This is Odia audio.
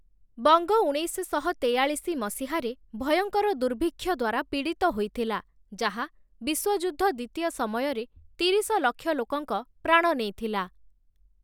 ବଙ୍ଗ ଉଣେଇଶଶହ ତେୟାଳିଶି ମସିହାରେ, ଭୟଙ୍କର ଦୁର୍ଭିକ୍ଷ ଦ୍ୱାରା ପୀଡ଼ିତ ହୋଇଥିଲା, ଯାହା ବିଶ୍ୱଯୁଦ୍ଧ-ଦ୍ଵିତୀୟ ସମୟରେ ତିରିଶ ଲକ୍ଷ ଲୋକଙ୍କ ପ୍ରାଣ ନେଇଥିଲା ।